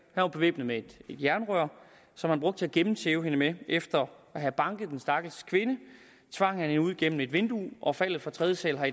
var bevæbnet med et jernrør som han brugte til at gennemtæve hende med efter at have banket den stakkels kvinde tvang han hende ud gennem et vindue og faldet fra tredje sal har